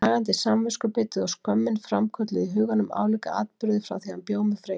Nagandi samviskubitið og skömmin framkölluðu í huganum álíka atburði, frá því hann bjó með Freyju.